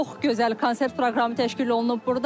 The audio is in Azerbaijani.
Çox gözəl konsert proqramı təşkil olunub burda.